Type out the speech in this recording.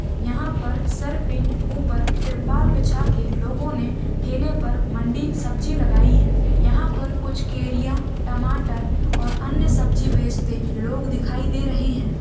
यहाँ पर सर पे ऊपर तिरपाल बीछा के लोगो ने ठेले पर मंडी सब्जी लगाई है। यहाँ पर कुछ केरिया टमाटर और अन्य सब्जी बेचते लोग दिखाई दे रहे हैं।